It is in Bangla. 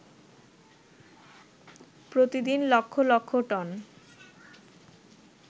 প্রতিদিন লক্ষ লক্ষ টন